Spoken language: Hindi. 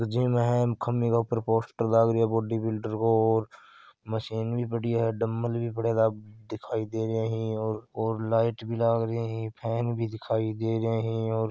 ओ जिम है इम खम्भे के ऊपर पोस्टर लाग रियो है बॉडीबिल्डर को और मशीन भी पड़ी है डंबल भी पड़े है दिखाई दे रहे है और और लाइट भी लागरी है फैन भी दिखाई दे रहे है और--